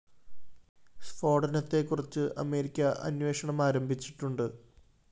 സ്‌ഫോടനത്തെക്കുറിച്ച് America അന്വേഷണം ആരംഭിച്ചിട്ടുണ്ട്